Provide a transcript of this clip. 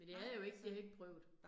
Men jeg havde jo ikke, jeg havde ikke prøvet